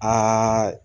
Aa